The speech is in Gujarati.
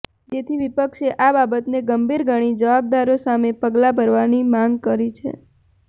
જેથી વિપક્ષે આ બાબતને ગંભીર ગણી જવાબદારો સામે પગલા ભરવાની માંગ કરી છે